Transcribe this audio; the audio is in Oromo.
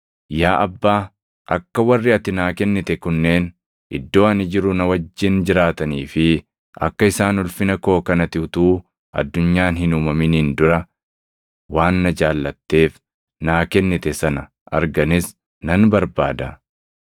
“Yaa Abbaa, akka warri ati naa kennite kunneen iddoo ani jiru na wajjin jiraatanii fi akka isaan ulfina koo kan ati utuu addunyaan hin uumaminiin dura waan na jaallatteef naa kennite sana arganis nan barbaada.